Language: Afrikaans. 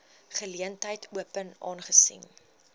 geleentheid open aangesien